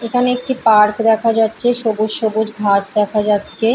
এখানে একটি পার্ক দেখা যাচ্ছে সবুজ সবুজ ঘাস দেখা যাচ্ছে।